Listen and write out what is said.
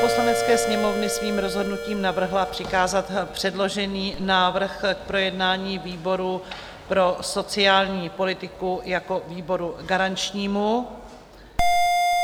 Poslanecké sněmovny svým rozhodnutím navrhla přikázat předložený návrh k projednání výboru pro sociální politiku jako výboru garančnímu.